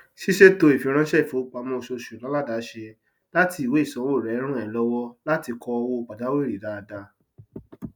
ṣíṣètò ìfiránsẹ ìfowópamọ oṣooṣù láládàáṣe láti ìwé ìsanwó rẹ ràn ẹ lọwọ láti kọ owó pajawiri dáadáa